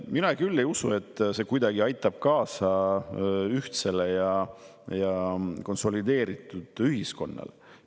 Mina küll ei usu, et see kuidagi aitab kaasa ühtse ja konsolideeritud ühiskonna.